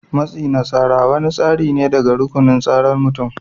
Matsi na tsara wani tasiri ne daga rukunin tsarar mutum.